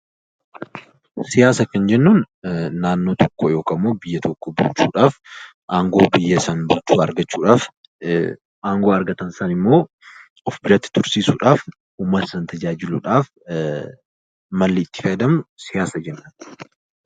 Siyaasa kan jennuun naannoo tokko yookaan biyya tokko bulchuudhaaf, aangoo biyya tokko bulchuu argachuudhaaf, aangoo argatan sanammoo of biratti tursiisuudhaaf uummata sana tajaajiluudhaaf malli itti fayyadamnu siyaasa jenna.